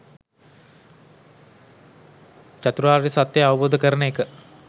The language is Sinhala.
චතුරාර්ය සත්‍ය අවබෝධ කරන එක